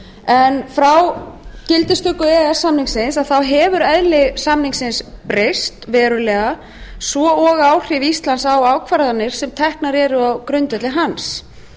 en frá gildistöku e e s samningsins hefur eðli samningsins breyst verulega svo og áhrif íslands á ákvarðanir sem teknar eru á grundvelli hans